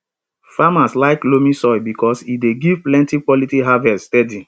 farmers like loamy soil because e dey give plenty quality harvest steady